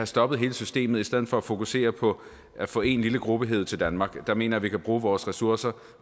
stoppet hele systemet i stedet for at fokusere på at få én lille gruppe hevet til danmark der mener vi kan bruge vores ressourcer